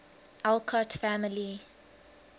alcott family